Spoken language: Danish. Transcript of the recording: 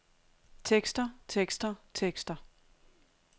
tekster tekster tekster